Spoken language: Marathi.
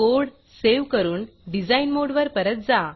कोड सेव्ह करून डिझाईन मोडवर परत जा